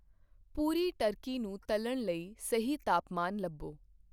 ਪੂਰੀ turkey ਨੂੰ ਤਲ਼ਣ ਲਈ ਸਹੀ ਤਾਪਮਾਨ ਲੱਭੋ।